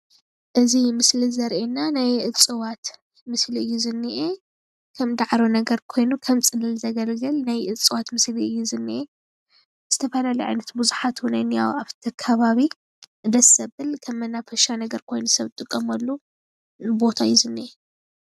እዚ ምስሊ ዘርእየና ናይ እጽዋት ምስሊ እዩ ዝንኤ ከም ዳዕሮ ነገር ኮይኑ ከምጽልል ዘገልግለ ናይ እጽዋት ምስሊ እዩ ዝንኤ ዝተፈላለዩ ዓይነት ቡዝሓት እዉን እንሄዉ ኣብቲ ከባቢ ደስ ዘብል ከም መናፈሻ ኮይኑ ሰብ ዝጠመሉ ቦታ እዩ ዝንኤ።